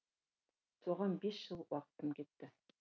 соған бес жыл уақытым кетті